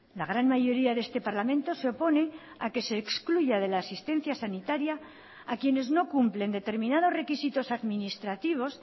la gran mayoría de este parlamento se opone a que se excluya de la asistencia sanitaria a quienes no cumplen determinados requisitos administrativos